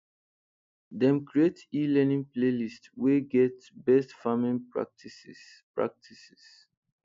dem create elearning playlist wey get best farming practices practices